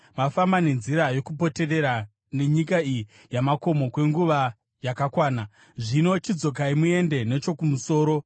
“Mafamba nenzira yokupoterera nyika iyi yamakomo kwenguva yakakwana, zvino chidzokai muende nechokumusoro.